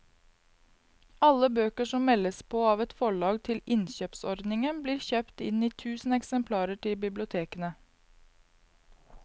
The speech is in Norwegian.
Alle bøker som meldes på av et forlag til innkjøpsordningen blir kjøpt inn i tusen eksemplarer til bibliotekene.